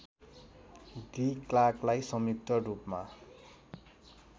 D क्लार्कलाई संयुक्तरूपमा